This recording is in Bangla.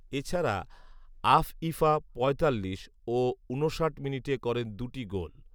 এছাড়া আফঈফা পঁয়তাল্লিশ ও ঊনষাট মিনিটে করেন দুটি গোল